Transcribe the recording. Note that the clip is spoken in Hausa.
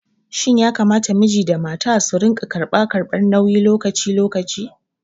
Shin yakamata miji da mata su rinƙa karɓa karɓar nauyi lokaci lokaci?